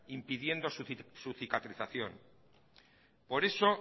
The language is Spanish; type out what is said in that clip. impidiendo su cicatrización por eso